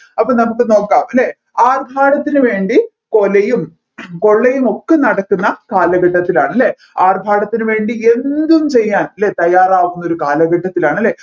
അപ്പോ നമ്മുക്ക് നോകാം അല്ലെ ആർഭാടത്തിന് വേണ്ടി കൊലയും കൊള്ളയും ഒക്കെ നടക്കുന്ന കാലഘട്ടത്തിലാണ് അല്ലെ ആർഭാടത്തിന് വേണ്ടി എന്തും ചെയ്യാൻ അല്ലെ തയ്യാറാകുന്ന ഒരു കാലഘട്ടത്തിലാണ് അല്ലെ